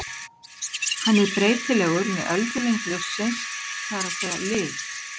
Hann er breytilegur með öldulengd ljóssins, það er að segja lit.